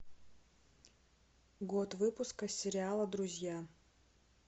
год выпуска сериала друзья